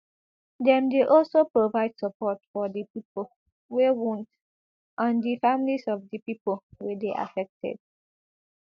dem dey aslo provide support for di pipo wey wound and di families of di pipo wey dey affected